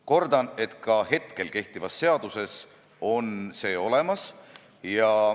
Kordan: ka hetkel kehtivas seaduses on see olemas.